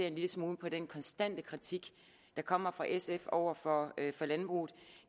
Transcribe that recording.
en lille smule på den konstante kritik der kommer fra sf over for landbruget